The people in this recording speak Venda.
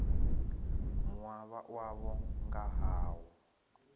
mua wavho nga ha u